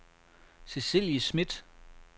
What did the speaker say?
Cecilie Smith